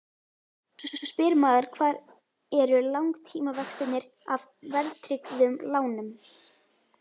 Svo spyr maður hvar eru langtímavextirnir af verðtryggðum lánum?